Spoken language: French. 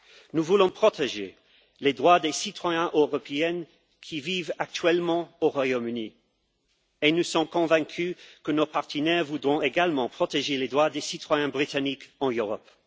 Nous voulons protéger les droits des citoyens européens qui vivent actuellement au Royaume Uni, comme nous sommes convaincus que nos partenaires voudront également protéger les droits des citoyens britanniques en Europe.